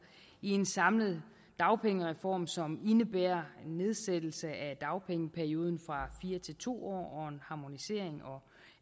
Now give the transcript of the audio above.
i en samlet dagpengereform som indebærer en nedsættelse af dagpengeperioden fra fire til to år og en harmonisering